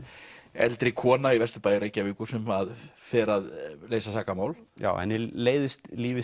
eldri kona í Vesturbæ Reykjavíkur sem að fer að leysa sakamál henni leiðist lífið